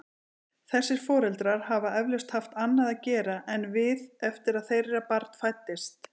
Þessir foreldrar hafa eflaust haft annað að gera en við eftir að þeirra barn fæddist.